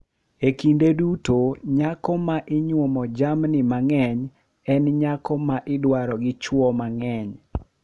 Kinde duto nyako ma inywomo jamni mang`eny en nyako ma idwaro gi chwo mang`eny.